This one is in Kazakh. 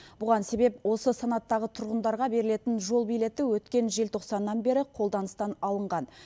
бұған себеп осы санаттағы тұрғындарға берілетін жол билеті өткен желтоқсаннан бері қолданыстан алынған